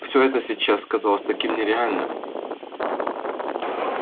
все это сейчас казалось таким нереальным